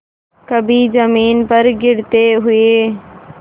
कभी जमीन पर गिरते हुए